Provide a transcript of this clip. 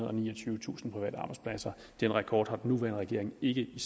og niogtyvetusind private arbejdspladser den rekord har den nuværende regering ikke i